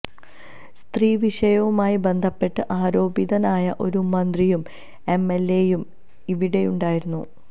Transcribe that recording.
സ്ത്രീവിഷയവുമായി ബന്ധപ്പെട്ട് ആരോപിതനായ ഒരു മന്ത്രിയും എം എല് എ യും ഇവിടെയുണ്ടായിരുന്നു